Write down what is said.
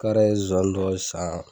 K'are ye zonsannin dɔ san.